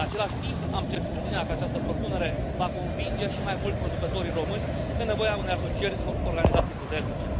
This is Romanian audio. În același timp, am certitudinea că această propunere va convinge și mai mult producătorii români de nevoia unei asocieri în organizații puternice.